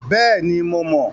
Bẹ́ẹ̀ni, mo mọ̀.